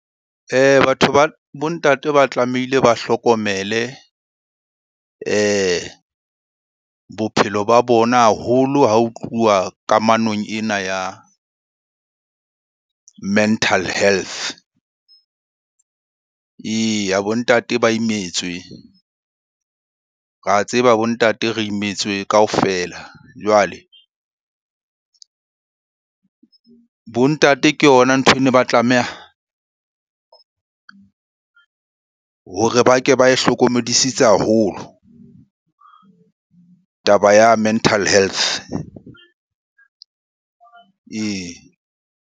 Batho ba bo ntate ba tlamehile ba hlokomele bophelo ba bona haholo ha ho tluwa kamanong ena ya mental health. Eya, bo ntate ba imetswe, ra tseba bo ntate re imetswe kaofela. Jwale bo ntate ke yona nthweno ba tlameha hore ba ke ba e hlokomedisitse haholo, taba ya mental health ee.